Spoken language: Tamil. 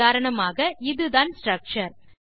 உதாரணமாக இதுதான் ஸ்ட்ரக்சர்